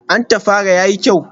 An tafara, ya fi kyau?